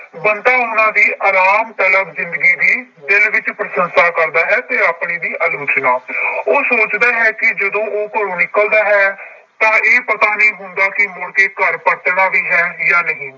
ਬੰਤਾ ਉਹਨਾਂ ਦੀ ਆਰਾਮ ਤਲਬ ਜ਼ਿੰਦਗੀ ਦੀ ਦਿਲ ਵਿੱਚ ਪ੍ਰਸੰਸਾ ਕਰਦਾ ਹੈ, ਤੇ ਆਪਣੀ ਦੀ ਆਲੋਚਨਾ ਉਹ ਸੋਚਦਾ ਹੈ ਕਿ ਜਦੋਂ ਉਹ ਘਰੋਂ ਨਿਕਲਦਾ ਹੈ ਤਾਂ ਇਹ ਪਤਾ ਨਹੀਂ ਹੁੰਦਾ ਕਿ ਮੁੜਕੇ ਘਰ ਪਰਤਣਾ ਵੀ ਹੈ ਜਾਂ ਨਹੀਂ।